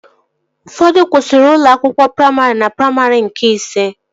Ụfọdụ kwụsịrị ụlọ akwụkwọ praimarị na praimarị nke ise